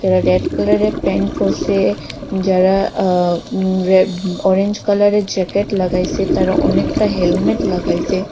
যারা red colour -এর pant পরছে যারা অ রে অরেঞ্জ কালার -এর জ্যাকেট লাগাইছে তারা অনেকটা হেলমেট লাগাইসে।